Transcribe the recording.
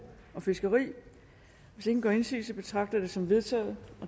og fiskeri hvis ingen gør indsigelse betragter jeg dette som vedtaget